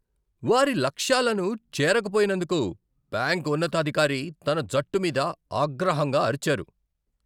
వారి లక్ష్యాలను చేరకపోయినందుకు బ్యాంక్ ఉన్నతాధికారి తన జట్టు మీద ఆగ్రహంగా అరిచారు.